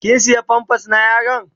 Kin siya "pampers "na yaron?